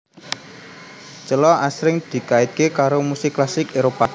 Cello asring dikaitke karo musik klasik Éropah